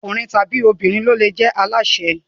Ọkùnrin tàbí obìnrin ni ó le jẹ alásè.